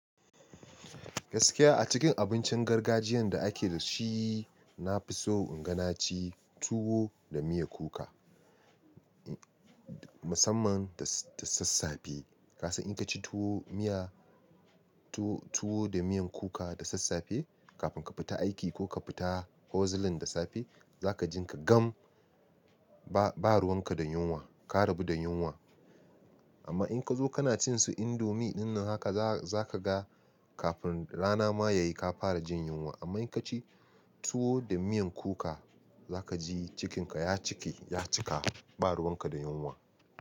Gaskiya a cikin abincin gargajiyan da ake da shi, na fi so in ganaci tuwo da miyan kuka, musamman da, da sassafe. Ka san in ka ci tuwo, miya tuwo da miyan kuka da sassafe kafin ka fita aiki ko ka fita huzzling da safe, za ka ji ka gam ba, ba ruwan ka da yunwa, ka rabu da yunwa. Amma in ka zo kana cin su indomie dinnan haka za ka ga kafin rana ma ya yi ka fara jin yunwa. Amma in ka ci tuwo da miyan kuka za ka ji cikin ka ya cike, ya cika ba ruwan ka da yunwa.